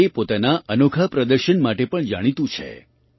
તે પોતાના અનોખા પ્રદર્શન માટે પણ જાણીતું છે